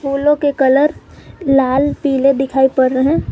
फूलों के कलर लाल पीले दिखाई पड़ रहे हैं।